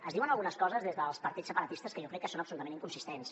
es diuen algunes coses des dels partits separatistes que jo crec que són absolutament inconsistents